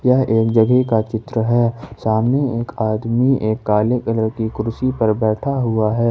यह एक जगह का चित्र है सामने एक आदमी एक काले कलर की कुर्सी पर बैठा हुआ है।